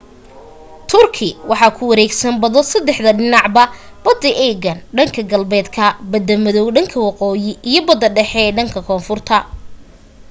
turkey waxaa ku wareegsan bado saddexda dhinacba bada aegean dhanka galbeedka bada madow dhanka waqooyi iyo bada dhexe ee dhanka konfurta